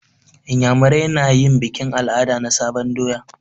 Inyamurai na yin bikin al'ada na sabon doya.